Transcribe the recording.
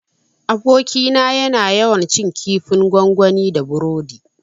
Abokina yana yawan cin kifin gwangwani da burodi